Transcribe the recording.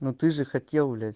ну ты же хотел блять